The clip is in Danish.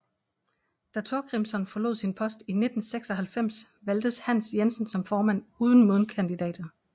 Da Thorgrimsson forlod sin post i 1996 valgtes Hans Jensen som formand uden modkandidater